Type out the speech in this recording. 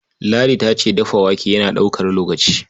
Ladi ta ce dafa wake yana ɗaukar lokaci.